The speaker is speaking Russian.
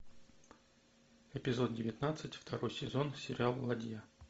эпизод девятнадцать второй сезон сериал ладья